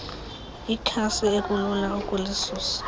ikhasi ekulula ukulisusa